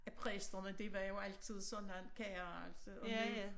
At præsterne det var jo altid sådan kara altså og nu